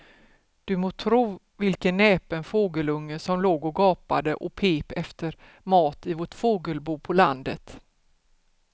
Du må tro vilken näpen fågelunge som låg och gapade och pep efter mat i vårt fågelbo på landet.